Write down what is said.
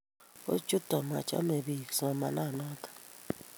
kuchoto machame biik somananato